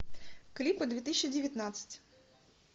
клипы две тысячи девятнадцать